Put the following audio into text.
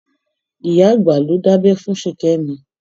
Ìyá àgbà ló dábẹ́ fún Ṣìkẹ́mi.